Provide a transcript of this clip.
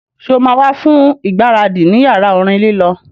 Sọ ma wá fún ìgbáradì ní yàrá orin lílọ